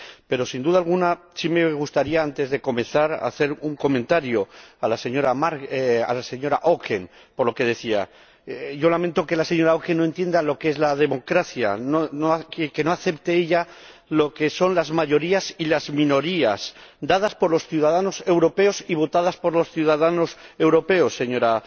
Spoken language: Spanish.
pero, sin duda alguna, sí me gustaría, antes de comenzar, hacer un comentario a la señora Auken por lo que decía. Yo lamento que la señora Auken no entienda lo que es la democracia, que no acepte, ella, lo que son las mayorías y las minorías, otorgadas por los ciudadanos europeos y votadas por los ciudadanos europeos, señora